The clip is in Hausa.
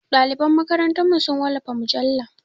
Ɗaliban makarantarmu su wallafa mujalla.